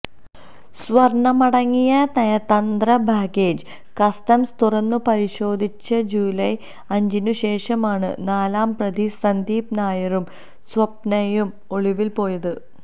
സ്വര്ണമടങ്ങിയ നയതന്ത്ര baggage customs തുറന്നുപരിശോധിച്ച July അഞ്ചിനുശേഷമാണു നാലാംപ്രതി സന്ദീപ് നായരും സ്വപ്നയും ഒളിവില് പോയത്